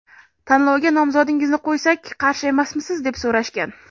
Tanlovga nomzodingizni qo‘ysak qarshi emasmisiz, deb so‘rashgan.